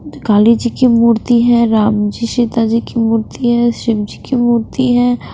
काली जी की मूर्ति है राम जी सीता जी की मूर्ति है शिव जी की मूर्ति है ।